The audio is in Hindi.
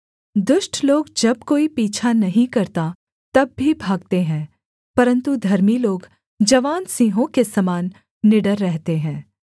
दुष्ट लोग जब कोई पीछा नहीं करता तब भी भागते हैं परन्तु धर्मी लोग जवान सिंहों के समान निडर रहते हैं